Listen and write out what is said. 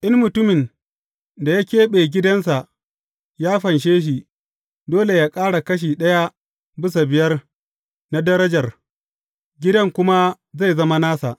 In mutumin da ya keɓe gidansa ya fanshe shi, dole yă ƙara kashi ɗaya bisa biyar na darajar, gidan kuma zai zama nasa.